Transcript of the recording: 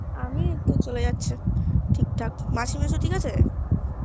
আমি এইতো চলে যাচ্ছে ঠিকঠাক মাসি মেসো ঠিক আছে?